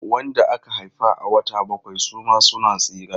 Wanda aka haifa a wata bakwai suma suna tsira.